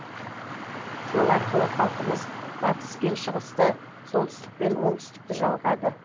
сол арқылы халқымыз батыс пен шығысты солтүстік пен оңтсүтікті жалғады